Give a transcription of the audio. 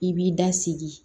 I b'i da sigi